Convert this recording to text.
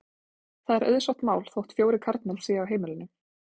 Það er auðsótt mál þótt fjórir karlmenn séu á heimilinu.